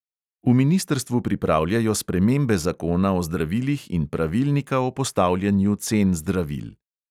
V ministrstvu pripravljajo spremembe zakona o zdravilih in pravilnika o postavljanju cen zdravil.